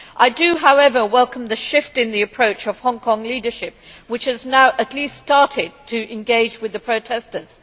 I do, however, welcome the shift in approach of the Hong Kong leadership, which has now at least started to engage with the protesters.